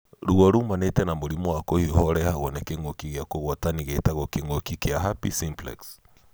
Ruo rũmanĩte na mũrimu wa kũhiũha ũrehagwo nĩ kĩngũkĩ kĩa kũhwatanii gĩtagwo kĩngũki kĩa herpes simplex.